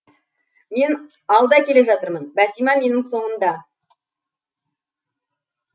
мен алда келе жатырмын бәтима менің соңымда